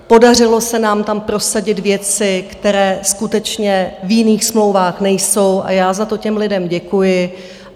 Podařilo se nám tam prosadit věci, které skutečně v jiných smlouvách nejsou, a já za to těm lidem děkuji.